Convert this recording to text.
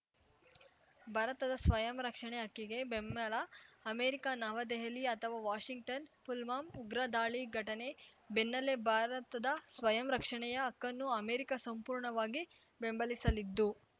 ಭಾರತದ ಸ್ವಯಂರಕ್ಷಣೆ ಹಕ್ಕಿಗೆ ಬೆಂಬಲ ಅಮೆರಿಕ ನವದೆಹಲಿ ಅಥವಾ ವಾಷಿಂಗ್ಟನ್‌ ಪುಲ್ವಾಮಾ ಉಗ್ರ ದಾಳಿ ಘಟನೆ ಬೆನ್ನಲ್ಲೇ ಭಾರತದ ಸ್ವಯಂ ರಕ್ಷಣೆಯ ಹಕ್ಕನ್ನು ಅಮೆರಿಕ ಸಂಪೂರ್ಣವಾಗಿ ಬೆಂಬಲಿಸಲಿದ್ದು